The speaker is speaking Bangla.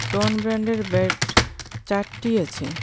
টন ব্র্যান্ডের ব্যাট চারটি আছে।